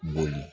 Boli